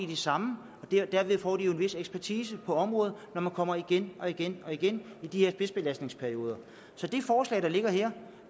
de samme og derved får de jo en vis ekspertise på området når de kommer igen og igen og igen i de her spidsbelastningsperioder så det forslag der ligger her